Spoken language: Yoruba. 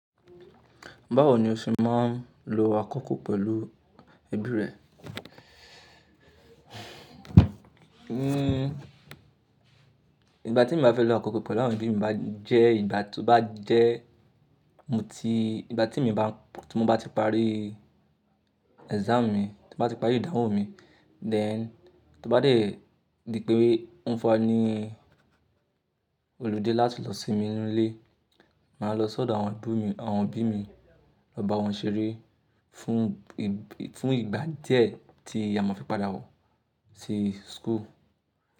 Báwo ni o ṣe máa ń lo akọ́kọ́ pẹ̀lú ẹbí rẹ? Ìgbà tí mo bá fẹ́ lo akọ́kọ́ pẹ̀lú àwọn ẹbí mi bá jẹ́ ìgbà tó bá jẹ́ mo ti-- ìgbà tí mo bá, tí mo bá ti parí exam mi, tí mo bá ti parí ìdánwò mi, then tó bá dè ní pé òún fani holiday láti lọ sinmi nínú ilé, màá lọ sọ́dọ̀ àwọn ẹbí mi, àwọn ẹbí mi, lọ bá wọn ṣeré fún ìgbà díẹ̀ tí a ma fi padà wọ̀ sí school.